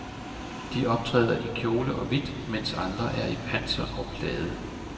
De optræder i kjole og hvidt, mens andre er i panser og plade.